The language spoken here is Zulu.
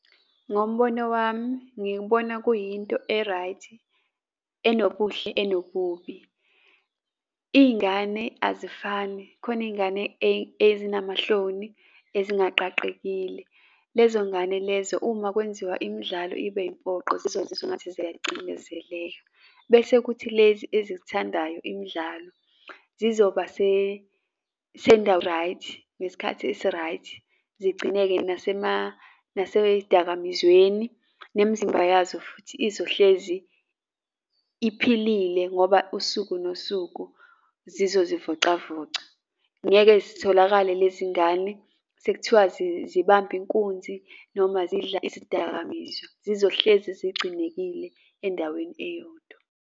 Ngombono wami ngikubona kuyinto e-right, enobuhle, enobubi. Iy'ngane azifani khona iy'ngane ezinamahloni ezingaqaqekile. Lezo ngane lezo uma kwenziwa imdlalo ibe impoqo zizozizwa engathi ziyacindezeleka, bese kuthi lezi ezizithandayo imidlalo zizoba sendaweni e-right, ngesikhathi esi-right. Zigcine-ke nasezidakamizweni nemzimba yazo futhi izohlezi iphilile ngoba usuku nosuku zizozivocavoca. Ngeke zitholakale lezi ngane sek'thiwa zibamba inkunzi noma zidla izidakamizwa. Zizohlezi zigcinekile endaweni eyodwa.